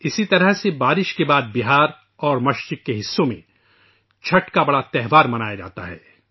اسی طرح سے بارش کے بعد بہار اور مشرقی حصوں میں چھٹ کا تہوار منایا جاتا ہے